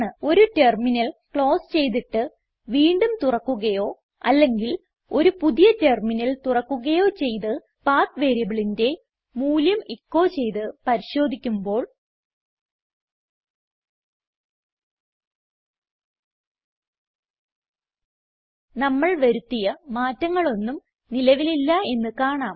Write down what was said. ഒരു terminal close ചെയ്തിട്ട് വീണ്ടും തുറക്കുകയോ അല്ലെങ്കിൽ ഒരു പുതിയ ടെർമിനൽ തുറക്കുകയോ ചെയ്ത് പത്ത് വേരിയബിളിന്റെ മൂല്യം എച്ചോ ചെയ്ത് പരിശോധിക്കുമ്പോൾ നമ്മൾ വരുത്തിയ മാറ്റങ്ങളൊന്നും നിലവിലില്ല എന്ന് കാണാം